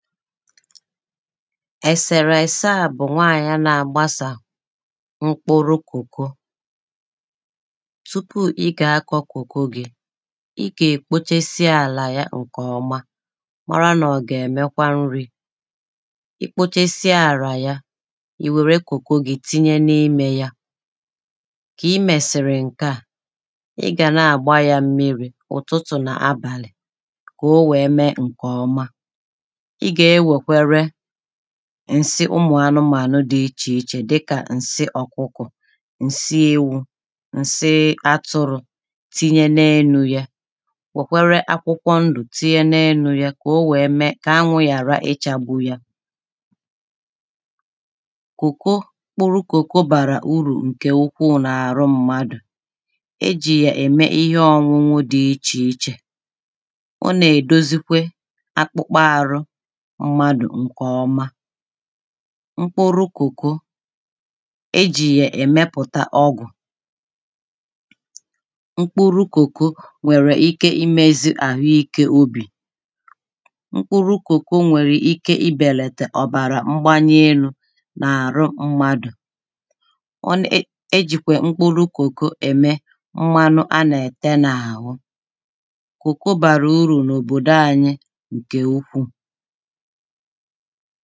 ẹ̀sẹ̀rẹ̀ ẹsẹ à bụ̀ maka nwaànyị̀ a nà-àgbasà mkpuru̇ kokò tupu ị gà-akọ̇ kokò gi i gà-èkpochesie àlà ya ǹkè ọma mara nà ọ gà-èmekwa nri̇ ikpochesie àlà ya ì wère kùkò gi tinye n’imė ya kà ị mẹ̀sị̀rị̀ ǹkè a ị gà nà-àgba ya mmiri̇ ụ̀tụtụ nà abàlị̀ kà o wèe mee ǹkè ọma ǹsi ụmụ̀ anụmanụ dị ichè ichè dịkà ǹsi ọ̀kụkọ̀ ǹsi ewu̇ ǹsi atụrụ̇ tinye n’elu̇ ya wèkwere akwụkwọ ndụ̀ tinye n’elu̇ ya kà o wèe mee kà anwụ̇ yàra ịchagbụ ya kùkù kpụrụ kòko bàrà urù ǹkè okwu̇ n’àrụ mmadù e jì yà ème ihe ọñụñụ dị ịchì ịchè mmadụ̀ ǹkè ọma mkpụrụ kòko e jì yà èmepùta ọgwụ̀ mkpụrụ kòko nwèrè ike imezi àhụ ikė obì mkpụrụ kòko nwèrè ike ibèlètè ọ̀bàrà mgbanye elu̇ nà-àrụ mmadụ̀ onye e jìkwè mkpụrụ kòko ème mmȧnụ̇ a nà-ète n’àhụ kòko bàrà urù n’òbòdo ȧnyị̇ ǹkè ukwuù ha bịa, hà ànalụzie gị̇ ebe ị kwụsị̀lị̀ malụzie ihe ha gà-ẹ̀mẹ, kpọlụzịẹ ndị mẹlụlụ ahụ jẹbẹzịẹ ụlọ̀ ọgwụ̀ m̀gbe ọbụnà ẹnwẹ̀lụ̀ ihẹ m̀bẹ̀lẹ̀dẹ, ọ bụ̀ akala ẹkwẹntị̇ a kà ị gà-àkpọ, ìtoolu̇ otù nà otù dàalụ nụ̀